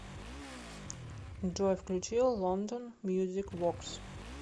джой включи лондон мьюзик воркс